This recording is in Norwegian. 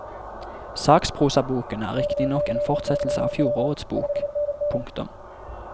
Sakprosaboken er riktignok en fortsettelse av fjorårets bok. punktum